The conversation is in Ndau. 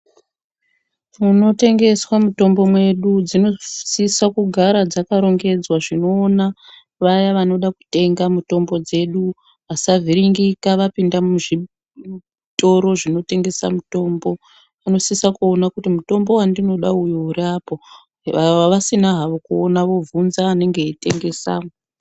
Munotengeswa mitombo mwedu dzinosise kugara dzakarongedzwa zvinoona vaya vanoda kutenga mitombo dzedu vasavhiringika vapinda muzvitoro zvinotengesa mitombo vanosise kuona kuti mutombo wandinoda uwo uriapo ,vasina havo kuoona vobvunza anaenge eitengesamwo.